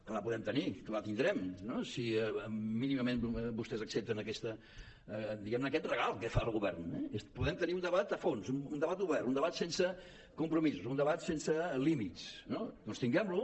que la podem tenir que la tindrem no si mínimament vostès accepten aquest diguem ne regal que fa el govern eh podem tenir un debat a fons un debat obert un debat sense compromisos un debat sense límits no doncs tinguem lo